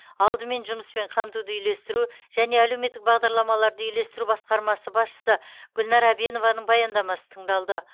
алдымен жұмыспен қамтуды үйлестіру және әлеуметтік бағдарламаларды үйлестіру басқармасы басшысы гүлнар әбенованың баяндамасы тыңдалды